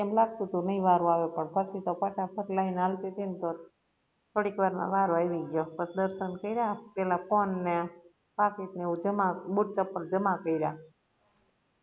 એમ લાગતુ તુ નઈ વારો આવે પણ પછી તો ફટાફટ line હાલતી તી ને તો થોડીક વાર મા વારો આવી ગયો પછ દર્શન કર્યા પેહલા ફોન ને પાકીટ ને એવું જમા બુટ ચપ્પલ જમા કર્યા